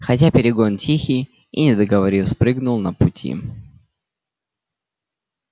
хотя перегон тихий и не договорив спрыгнул на пути